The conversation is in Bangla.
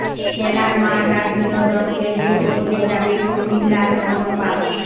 খেলার মাঠ আর বিনোদন কেন্দ্রে বদলে যাবে কুমিল্লার মনপাল